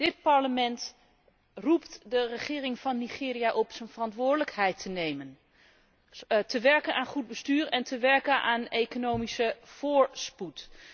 Dit Parlement roept de regering van Nigeria op zijn verantwoordelijkheid te nemen, te werken aan goed bestuur en te werken aan economische voorspoed.